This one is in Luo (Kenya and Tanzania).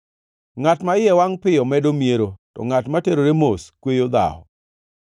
Ngʼat ma iye wangʼ piyo medo miero, to ngʼat ma terore mos kweyo dhawo.